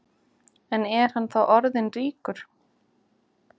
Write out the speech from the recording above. En er hann þá orðin ríkur?